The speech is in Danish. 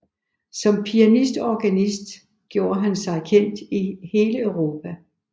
Som pianist og organist gjorde han sig kendt i hele Europa